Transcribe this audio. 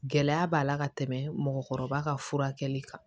Gɛlɛya b'a la ka tɛmɛ mɔgɔkɔrɔba ka furakɛli kan